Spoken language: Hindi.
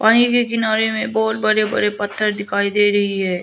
पानी के किनारे में बहोत बड़े बड़े पत्थर दिखाई दे रही है।